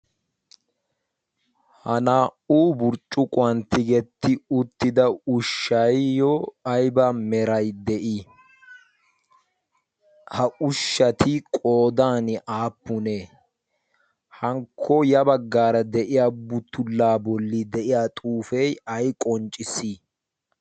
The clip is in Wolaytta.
ha naa''u burccuquwan tigetti uttida ushshayayo ayba meray de'ii ha ushshati qoodan aappunee hankko ya baggaara de'iya butullaa bolli de'iya xuufee ay qoncciss